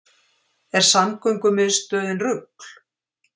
Er samgöngumiðstöðin rugl